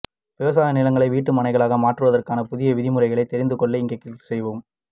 விவசாய நிலங்களை வீட்டு மனைகளாக மாற்றுவதற்கான புதிய விதி முறைகளை தெரிந்து கொள்ள இங்கே க்ளிக் செய்யவும்